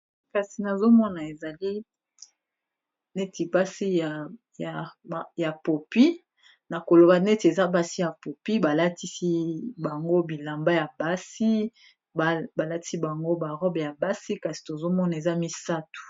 Kasi nazomona ezali neti pasi ya popi na koloba neti eza basi ya popi balatisi bango bilamba ya basi balatisi bango ba robe ya basi kasi tozomona eza misato.